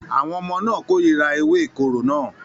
Àwọn ọmọ náà kórìíra ewé ìkorò náà